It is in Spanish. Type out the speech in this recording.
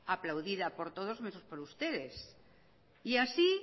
aplaudida por todos menos por ustedes y así